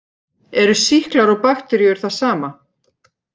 Eru sýklar og bakteríur það sama?